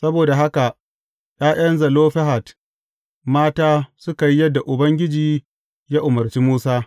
Saboda haka ’ya’yan Zelofehad mata suka yi yadda Ubangiji ya umarci Musa.